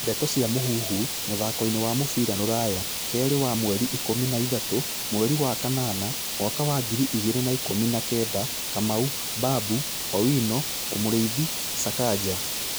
Ndeto cia Mũhuhu, mũthakoini wa mũbĩra rũraya, Kerĩ ka mweri ikũmi na ithatũ, mweri wa kanana, mwaka wa ngiri igĩrĩ na ikumi na kenda:Kamau, Babu, Owino, Muriithi, Sakaja